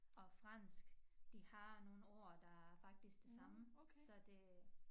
Og fransk de har nogle ord der faktisk det samme så det